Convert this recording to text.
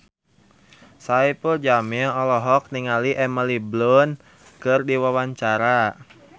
Saipul Jamil olohok ningali Emily Blunt keur diwawancara